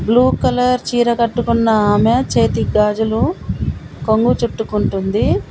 Blue colour చీర కట్టుకున్న ఆమె చేతికి గాజులు కొంగు చుట్టుకుంటుంది.